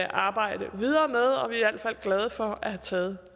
arbejde videre med og vi er i hvert fald glade for at have taget